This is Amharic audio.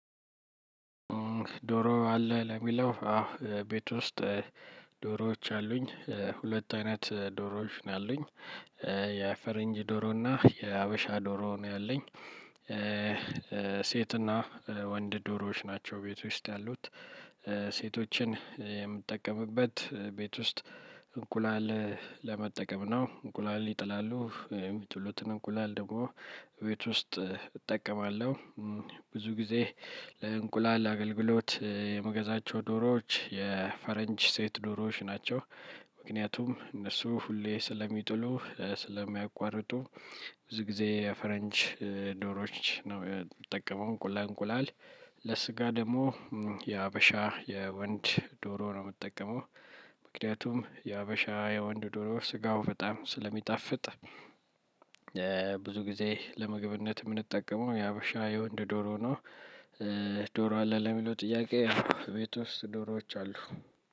ዶሮ አለህ ለሚለው አዎ ቤት ውስጥ ዶሮዎች አሉኝ ሁለት አይነት ዶሮዎች ነው ያሉኝ የፈረንጅ ዶሮ እና የሀበሻ ዶሮ ነው ያለኝ። ሴትና ወንድ ዶሮዎች ናቸው ቤት ውስጥ ያሉት። ሴቶችን የምጠቀምበት ቤት ውስጥ እንቁላል ለመጠቀም ነው እንቁላል ይጥላሉ የሚጥሉትን እንቁላል ደግሞ ቤት ውስጥ እጠቀማለሁ። ብዙ ጊዜ ለእንቁላል አገልግሎት የምገዛቸው ዶሮዎች የፈረንጅ ሴት ዶሮዎች ናቸው። ምክንያቱም እነሱ ሁሌ ስለሚጥሉ ስለማያቋርጡ። ብዙ ጊዜ የፈረንጅ ዶሮዎች ነው የምጠቀመው እንቁላል። ለስጋ ደግሞ የሀበሻ የወንድ ዶሮ ነው የምጠቀመው። ምክንያቱም የሀበሻ የወንድ ዶሮ ስጋው በጣም ስለሚጣፍጥ። ብዙ ጊዜ ለምግብነት የምንጠቀመው የሀበሻ የወንድ ዶሮ ነው። ዶሮ አለ ለሚለው ጥያቄ? አዎ ቤት ውስጥ ዶሮዎች አሉ።